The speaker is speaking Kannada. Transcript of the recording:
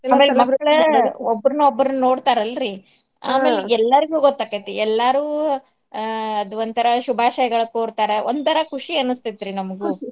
ಒಬ್ಬರ್ನ್ ಒಬ್ಬರ್ನ್ ನೋಡ್ತಾರಲ್ರೀ ಆಮೇಲ್ ಎಲ್ಲಾರ್ಗೂ ಗೊತ್ ಆಕ್ಕೇತಿ ಎಲ್ಲಾರೂ ಅಹ್ ಅದೋಂತರಾ ಶುಭಾಷಯಗಳ ಕೋರ್ತಾರ ಒಂತರಾ ಖುಷಿ ಅನ್ನಸ್ತೇತ್ರಿ ನಮ್ಗು .